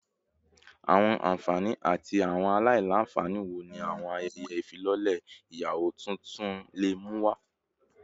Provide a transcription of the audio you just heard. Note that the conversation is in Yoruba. Awọn anfani ati awọn alailanfani wo ni awọn ayẹyẹ ifilọlẹ iyawo tuntun le mu wa?